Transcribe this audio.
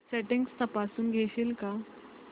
settings तपासून घेशील का